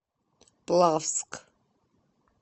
плавск